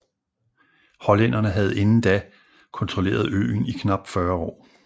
Hollænderne havde inden da kontrolleret øen i knapt 40 år